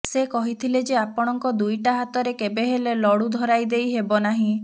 ସେ କହିଥିଲେ ଯେ ଆପଣଙ୍କ ଦୁଇଟା ହାତରେ କେବେ ହେଲେ ଲଡ଼ୁ ଧରାଇଦେଇ ହେବ ନାହିଁ